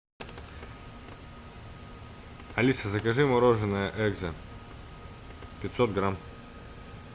алиса закажи мороженое экзо пятьсот грамм